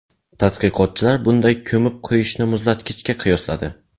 Tadqiqotchilar bunday ko‘mib qo‘yishni muzlatgichga qiyosladi.